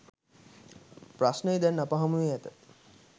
ප්‍රශ්නය දැන් අප හමුවේ ඇත